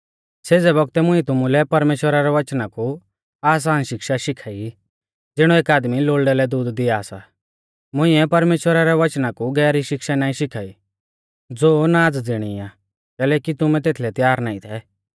सेज़ै बौगतै मुंइऐ तुमुलै परमेश्‍वरा रै वचना कु आसान शिक्षा शिखाई ज़िणौ एक आदमी लोल़डै लै दूध दिया सा मुइंऐ परमेश्‍वरा रै वचना कु गैहरी शिक्षा नाईं शिखाई ज़ो नाज़ ज़िणी आ कैलैकि तुमै तेथलै त्यार नाईं थै